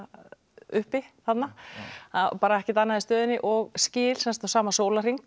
uppi þarna ekkert annað í stöðunni og skil á sama sólarhring